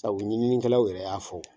Sabu u ɲininikɛlaw yɛrɛ y'a fɔ!